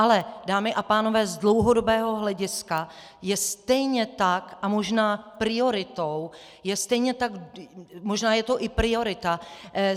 Ale dámy a pánové, z dlouhodobého hlediska je stejně tak a možná prioritou, je stejně tak - možná je to i priorita.